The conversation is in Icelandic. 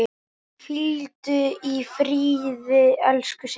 Hvíldu í friði, elsku Siggi.